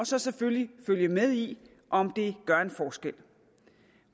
så selvfølgelig med i om det gør en forskel